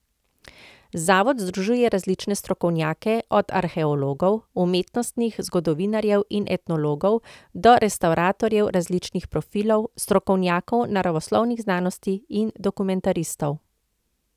Zavod združuje različne strokovnjake, od arheologov, umetnostnih zgodovinarjev in etnologov do restavratorjev različnih profilov, strokovnjakov naravoslovnih znanosti in dokumentaristov.